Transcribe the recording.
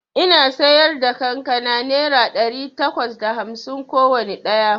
Ina siyarda kankana naira ɗari takwas da hamsin kowanne ɗaya